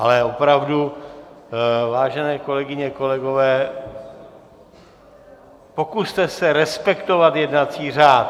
Ale opravdu, vážené kolegyně, kolegové, pokuste se respektovat jednací řád.